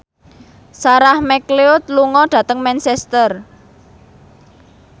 Sarah McLeod lunga dhateng Manchester